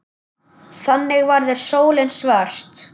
Þannig verður sólin svört.